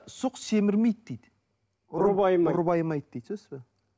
сұқ семірмейді дейді ұры байымайды ұры байымайды дейді түсінесіз бе